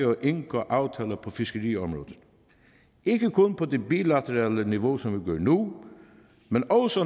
og indgå aftaler på fiskeriområdet ikke kun på det bilaterale niveau som vi gør nu men også